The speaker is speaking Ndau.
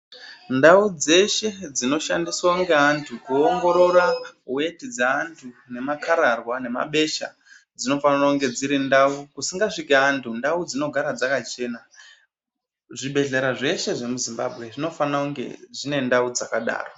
Ndau dzeshe dzinoshandiswa ngeandu kuongorora weti dzeantu nemakararwa nemabesha dzinofana kuva dziri ndau kusingasviki antu dzinogara dzakachena. Zvibhedhlera zveshe zvemu Zimbabwe zvinofanira kunge dzine ndau dzakadaro.